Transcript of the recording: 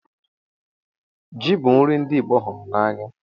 Ji bu nri ndi Igbo hụrụ anya